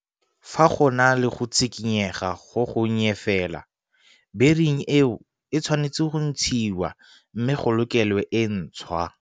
Fa go na le go tshikinyega go gonnye fela bering eo e tshwanetse go ntshiwa mme go lokelwe e ntshwa.